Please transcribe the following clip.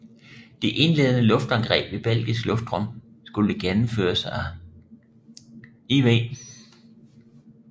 De indledende luftangreb i belgisk luftrum skulle gennemføres af IV